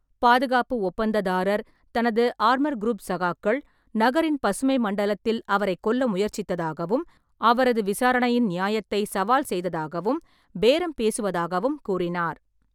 பாதுகாப்பு ஒப்பந்ததாரர், தனது ஆர்மர்குரூப் சகாக்கள், நகரின் பசுமை மண்டலத்தில் அவரைக் கொல்ல முயற்சித்ததாகவும், அவரது விசாரணையின் நியாயத்தை சவால் செய்ததாகவும், பேரம் பேசுவதாகவும் கூறினார்.